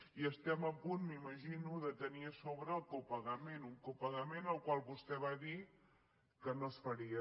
i estem a punt m’imagino de tenir a sobre el copagament un copagament del qual vostè va dir que no es faria